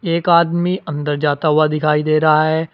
एक आदमी अंदर जाता हुआ दिखाई दे रहा है।